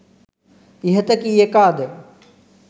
ඉහත කී එකාද